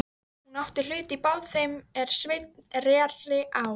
Hún átti hlut í bát þeim er Sveinn reri á.